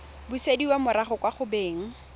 busediwa morago kwa go beng